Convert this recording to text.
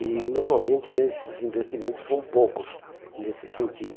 E normalmente esses investimentos são poucos nesse sentido.